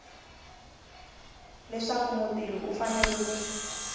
leswaku mutirhi u fanele ku